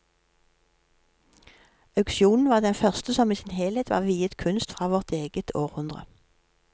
Auksjonen var den første som i sin helhet var viet kunst fra vårt eget århundre.